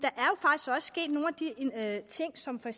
af de ting som for